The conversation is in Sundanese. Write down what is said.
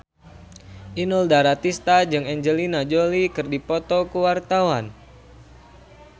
Inul Daratista jeung Angelina Jolie keur dipoto ku wartawan